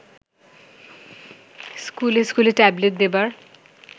স্কুলে স্কুলে ট্যাবলেট দেবার